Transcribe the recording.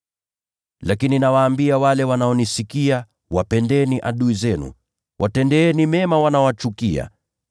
“Lakini nawaambia ninyi mnaonisikia: Wapendeni adui zenu. Watendeeni mema wanaowachukia.